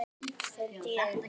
stundi ég upp.